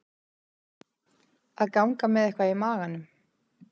Að ganga með eitthvað í maganum